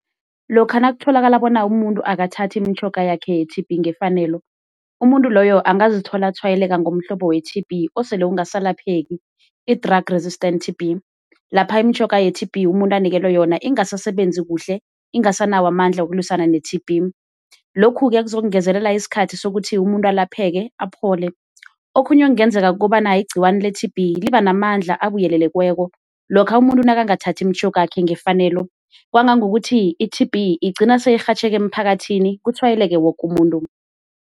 Lokha nakutholakala bona umuntu akathathi imitjhoga yakhe ye-T_B ngefanelo umuntu loyo angazithola atshwayeleka ngomhlobo we-T_B osele ungasalapheki i-drug resistant T_B, lapha imitjhoga ye-T_B umuntu anikelwe yona ingasasebenzi kuhle, ingasanawo amandla wokulwisana ne-T_B lokhu-ke kuzokungezelela isikhathi sokuthi umuntu alapheke aphole. Okhunye okungenzeka kukobana igciwani le-T_B libanamandla abuyelelekweko, lokha umuntu nakangathathi imitjhoga yakhe ngefanelo kwangangokuthi i-T_B igcina seyirhatjheka emphakathini kutshwayeleke woke umuntu.